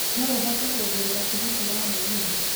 no ũhote kũngũrira tigiti wa mũgithi